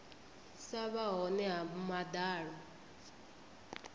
sa vha hone ha madalo